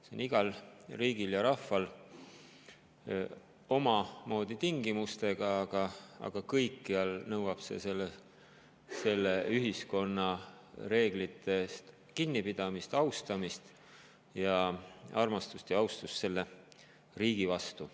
See on igal riigil ja rahval omamoodi tingimustega, aga kõikjal nõuab see selle ühiskonna reeglitest kinnipidamist, nende austamist ning armastust ja austust selle riigi vastu.